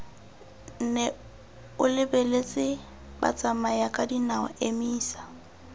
nne o lebeletse batsamayakadinao emisa